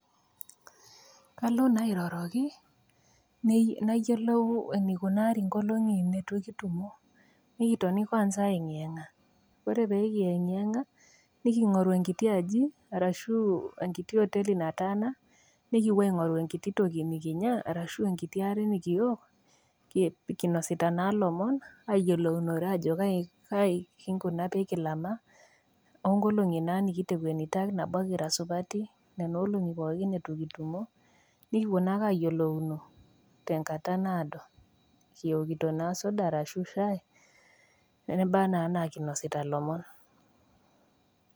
Kalo naa airoroki nayiolou eneikunari nkolongi nitu kitumo ,nikitoni kwanza aiengeanga ,ore pekiengeanga nikingoru enkiti aji arashu enkiti oteli nataana nikipuo aingoru enkiti tolkinya arashu enkiti are nikiwok kinosita naa lomon kigira ayiolou kaikua lngolongi nikimina, nikipuo naa ayiolounye tenkata naado kiwokito suda arashu shai nebaa na anaa kinasita lomon.